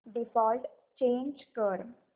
default change कर